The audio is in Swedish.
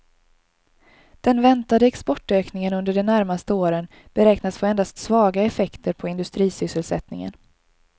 Den väntade exportökningen under de närmaste åren beräknas få endast svaga effekter på industrisysselsättningen.